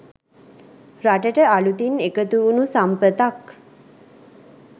රටට අලුතින් එකතුවුනු සම්පතක්.